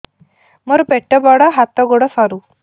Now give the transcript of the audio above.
ମୋର ପେଟ ବଡ ହାତ ଗୋଡ ସରୁ